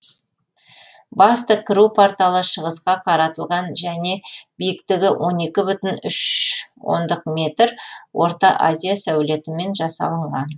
басты кіру порталы шығысқа қаратылған және биіктігі он екі бүтін үш оныдқ метр орта азия сәулетімен жасалынған